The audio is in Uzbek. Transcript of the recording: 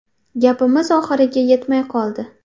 Gapimiz oxiriga yetmay qoldi.